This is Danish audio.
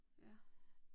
Ja